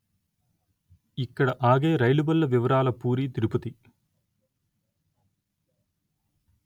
ఇక్కడ ఆగే రైలుబళ్ళ వివరాల పూరి తిరుపతి